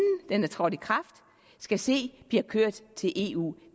den er trådt i kraft skal se blive kørt til eu